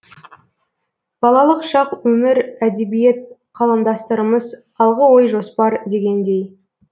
балалық шақ өмір әдебиет қаламдастарымыз алғы ой жоспар дегендей